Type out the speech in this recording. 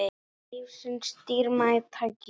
Lífsins dýrmæta gjöf.